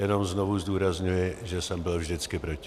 Jenom znovu zdůrazňuji, že jsem byl vždycky proti.